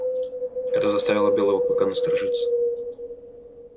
это заставило белого клыка насторожиться